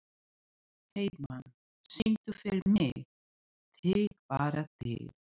Heiðmann, syngdu fyrir mig „Þig bara þig“.